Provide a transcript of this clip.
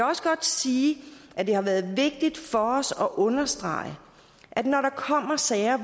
også godt sige at det har været vigtigt for os at understrege at når der kommer sager